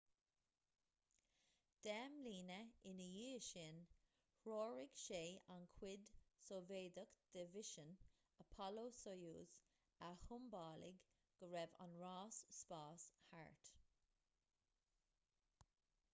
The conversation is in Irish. deich mbliana ina dhiaidh sin threoraigh sé an chuid sóivéadach de mhisean apollo-soyuz a shiombalaigh go raibh an ráis spáis thart